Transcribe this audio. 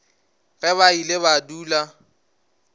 ge ba ile ba dula